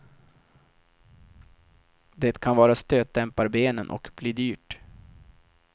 Det kan vara stötdämparbenen och bli dyrt.